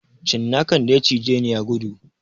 Cinnakan da ya cijeni ya gudu